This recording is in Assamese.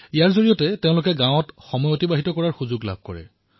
ইয়াৰ দ্বাৰা তেওঁলোকে গাঁৱত অধিক সময় থকাৰ সুযোগ পাইছিল